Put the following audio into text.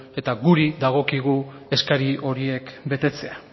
eta gure dagokigu eskari horiek betetzea